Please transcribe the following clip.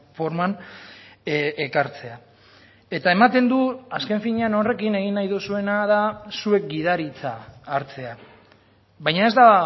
forman ekartzea eta ematen du azken finean horrekin egin nahi duzuena da zuek gidaritza hartzea baina ez da